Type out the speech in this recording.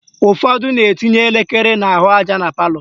Ụfọdụ na-etinye elekere n'ahụaja na palọ